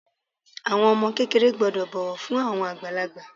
Àwọn ọmọ kékeré gbọ́dọ̀ bọ̀wọ̀ fún àwọn àgbàlagbà.